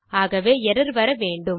ஆகவே எர்ரர் வர வேண்டும்